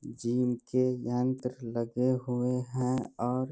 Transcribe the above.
जिनके ज्ञान तर लगे हुए हैं और --